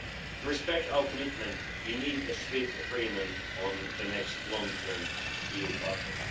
To respect our commitment, we need a swift agreement on the next long-term EU budget.